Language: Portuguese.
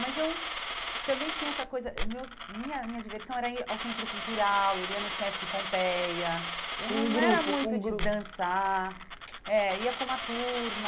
Mas eu também tinha essa coisa, meus minha minha diversão era ir ao Centro Cultural, eu ia no Sesc Pompeia, com um grupo com um grupo eu não era muito de dançar, é ia com uma turma.